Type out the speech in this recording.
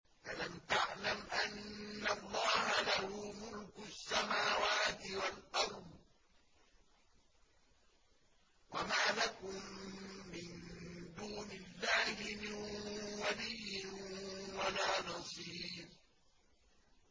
أَلَمْ تَعْلَمْ أَنَّ اللَّهَ لَهُ مُلْكُ السَّمَاوَاتِ وَالْأَرْضِ ۗ وَمَا لَكُم مِّن دُونِ اللَّهِ مِن وَلِيٍّ وَلَا نَصِيرٍ